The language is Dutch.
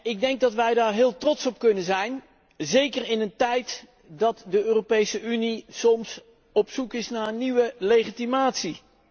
Ik denk dat wij daar heel trots op kunnen zijn, zeker in een tijd waarin de Europese Unie soms op zoek is naar nieuwe legitimatie.